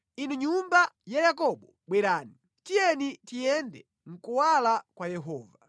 Inu nyumba ya Yakobo, bwerani, tiyeni tiyende mʼkuwala kwa Yehova.